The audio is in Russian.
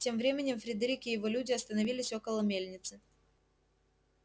тем временем фредерик и его люди остановились около мельницы